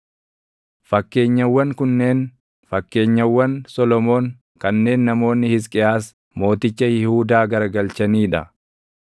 Fakkeenyawwan kunneen fakkeenyawwan Solomoon kanneen namoonni Hisqiyaas, mooticha Yihuudaa garagalchanii dha: